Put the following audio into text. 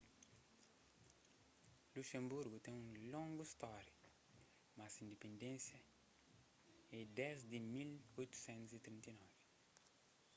luxenburgu ten un longu stória mas se indipendénsia é desdi di 1839